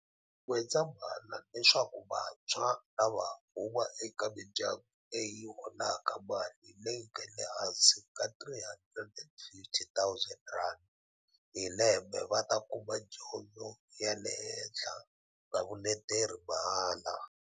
N'wendza mhala leswaku vantshwa lava huma eka mindya ngu leyi yi holaka mali leyi nga le hansi ka R350 000 hi lembe va ta kuma dyondzo ya le henhla na vuleteri mahala.